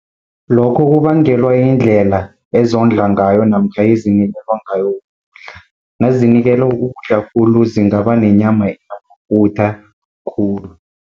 Lokho kubangelwa yindlela ezondla ngayo namkha ezinikelwa ngayo ukudla. Nazinikelwa ukudla khulu zingaba nenyama enamafutha khulu.